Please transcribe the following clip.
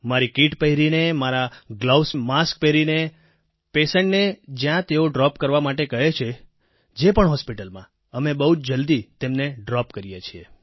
મારી કિટ પહેરીને મારા ગ્લોવ્સ માસ્ક પહેરીને પેશન્ટ ને જ્યાં તેઓ ડ્રોપ કરવા માટે કહે છે જે પણ હોસ્પિટલ માં અમે બહુ જ જલ્દી તેમને ડ્રોપ કરીએ છીએ